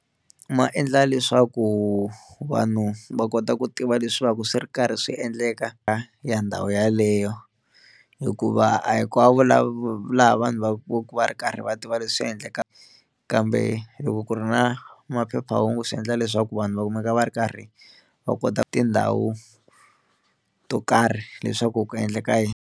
Ma endla leswaku vanhu va kota ku tiva leswaku swi ri karhi swi endleka ya ndhawu yeleyo hikuva a hinkwavo lava laha vanhu va va va ri karhi va tiva leswi endleka, kambe loko ku ri na maphephahungu swi endla leswaku vanhu va kumeka va ri karhi va kota tindhawu to karhi leswaku ku endleka yini.